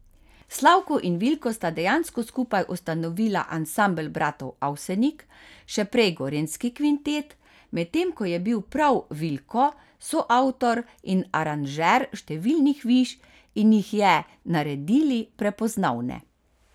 Slavko in Vilko sta dejansko skupaj ustanovila Ansambel bratov Avsenik, še prej Gorenjski kvintet, medtem ko je bil prav Vilko soavtor in aranžer številnih viž in jih je naredili prepoznavne.